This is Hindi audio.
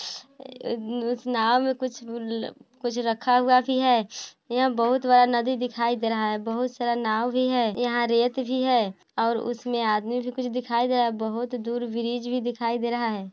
अ नाव में कुछ ल कुछ रखा हुआ भी है यहाँ बहुत बड़ा नदी दिखाई दे रहा है बहुत सारा नाव भी है यहाँ रेत भी है और उसमें आदमी भी कुछ दिखाई दे रहा है बहुत दूर ब्रिज भी दिखाई दे रहा है।